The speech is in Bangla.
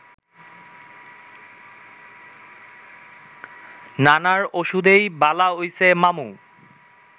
নানার ওষুধেই বালা হইছে মামু